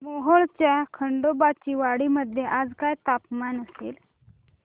मोहोळच्या खंडोबाची वाडी मध्ये आज काय तापमान असेल